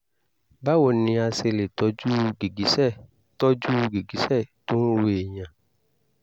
báwo ni a ṣe lè tọ́jú gìgísẹ̀ tọ́jú gìgísẹ̀ tó ń ro èèyàn?